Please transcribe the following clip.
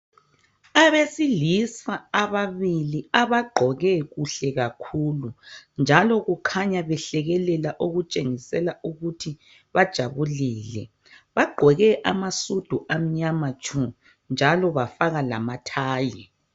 Abesilisa ababili abagqoke kuhle kakhulu. Njalo kukhanya behlekelela okutshengisela ukuthi bajabulile. Bagqoke amasudu amnyama tshu, njalo bafaka lamathayi.